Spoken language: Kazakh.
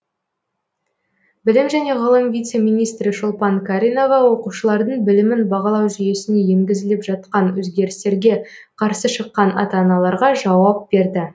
білім және ғылым вице министрі шолпан каринова оқушылардың білімін бағалау жүйесіне енгізіліп жатқан өзгерістерге қарсы шыққан ата аналарға жауап берді